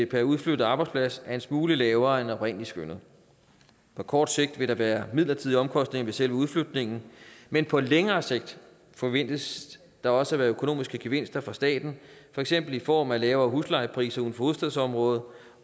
per udflyttet arbejdsplads er en smule lavere end oprindelig skønnet på kort sigt vil der være midlertidige omkostninger ved selve udflytningen men på længere sigt forventes der også at være økonomiske gevinster for staten for eksempel i form af lavere huslejepriser uden for hovedstadsområdet og